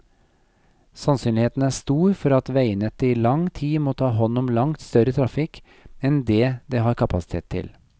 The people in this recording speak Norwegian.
Sannsynligheten er stor for at veinettet i lang tid må ta hånd om langt større trafikk enn det det har kapasitet til.